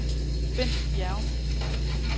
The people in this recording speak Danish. Bendt Bjerrum